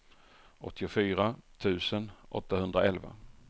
åttiofyra tusen åttahundraelva